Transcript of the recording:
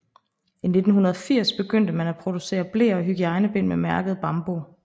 I 1980 begyndte man at producere bleer og hygiejnebind med mærket Bambo